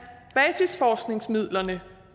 basisforskningsmidlerne